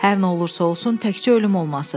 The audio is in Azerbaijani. Hər nə olursa olsun, təkcə ölüm olmasın.